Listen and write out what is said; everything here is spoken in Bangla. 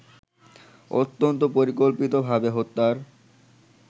অত্যন্ত পরিকল্পিতভাবে হত্যার